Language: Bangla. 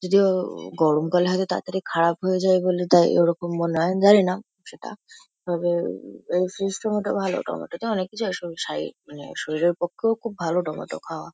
যদিও গরমকালে হয়তো তাড়াতাড়ি খারাপ হয়ে যায় বলে তাই ওরকম মনে হয় জানি না সেটা তবে সিস্টেম -এ টাও ভালো টমেটোতে অনেক কিছু হয় সাই মানে শরীরের পক্ষেও খুব ভালো টমেটো খাওয়া।